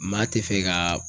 Maa tɛ fɛ ka